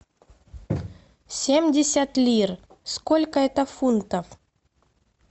семьдесят лир сколько это фунтов